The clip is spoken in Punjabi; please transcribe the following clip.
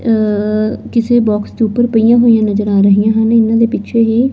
ਅ ਕਿਸੇ ਬਾਕਸ ਦੇ ਉਪਰ ਪਈਆਂ ਹੋਈਆਂ ਨਜ਼ਰ ਆ ਰਹੀਆਂ ਹਨ ਇਹਨਾਂ ਦੇ ਪਿੱਛੇ ਹੀ--